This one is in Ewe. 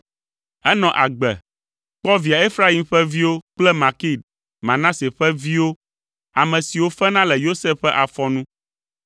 Enɔ agbe, kpɔ via Efraim ƒe viwo kple Makir, Manase ƒe vi ƒe viwo, ame siwo fena le Yosef ƒe afɔ nu.